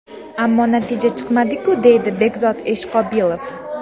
Ammo natija chiqmadi-ku, deydi Bekzod Eshqobilov.